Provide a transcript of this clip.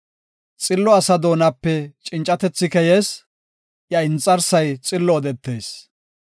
Xillo asa doonape cincatethi keyees; iya inxarsay xillo odetees.